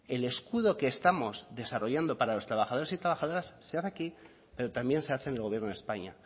el escudo que estamos desarrollando para los trabajadores y trabajadoras se hace aquí pero también se hace en el gobierno de españa